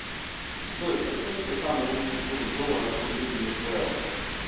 джой подскажите самый лучший курс доллара к рублю в венесуэла